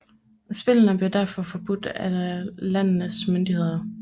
Spillene blev derfor forbudt af landenes myndighederne